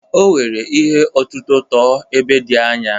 O were ihe ọ̀tụ̀tụ̀ tụọ ebe dị anya.